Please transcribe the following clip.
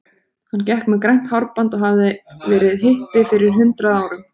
Hann gekk með grænt hárband og hafði verið hippi fyrir hundrað árum.